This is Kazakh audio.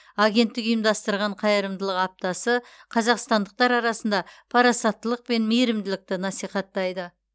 агенттік ұйымдастырған қайырымдылық аптасы қазақстандықтар арасында парасаттылық пен мейірімділікті насихаттайды